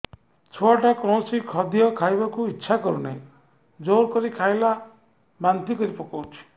ଛୁଆ ଟା କୌଣସି ଖଦୀୟ ଖାଇବାକୁ ଈଛା କରୁନାହିଁ ଜୋର କରି ଖାଇଲା ବାନ୍ତି କରି ପକଉଛି